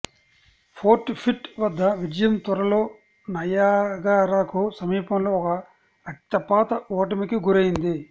fort Pitt వద్ద విజయం త్వరలో నయాగరాకు సమీపంలో ఒక రక్తపాత ఓటమికి గురైంది